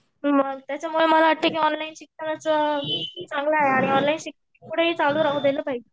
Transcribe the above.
त्याच्या मूळ मला वाटत की ऑनलाईन शिकण्याचं चांगलं आहे आणि ऑनलाईन राहू दिल पाहिजे.